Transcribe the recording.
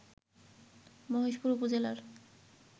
মহেশপুর উপজেলার